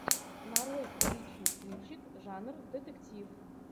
нарой приличный кинчик жанр детектив